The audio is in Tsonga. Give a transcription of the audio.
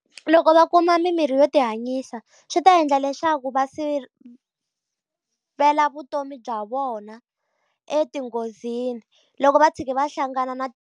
Loko va kuma mimirhi yo ti hanyisa swi ta endla leswaku va sivela vutomi bya vona enghozini loko va tshuka va hlangana na.